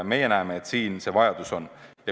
Meie näeme, et siin see vajadus on.